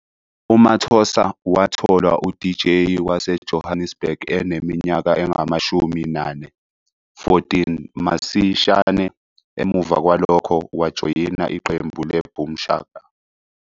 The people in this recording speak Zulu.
UMathosa watholwa uDJ wase Johannesburg ene minyaka engamashumi-nane, 14, masishane emuva kwalokho wajoyina iqembu leBoom Shaka.